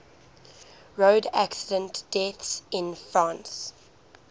road accident deaths in france